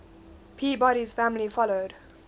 peabody's family followed